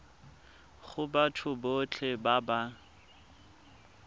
go batho botlhe ba ba